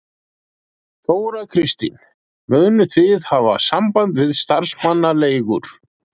Þóra Kristín: Munu þið hafa samband við starfsmannaleigur?